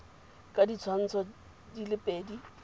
ka ditshwantsho di le pedi